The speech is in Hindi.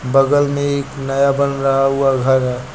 बगल में एक नया बन रहा हुआ घर है।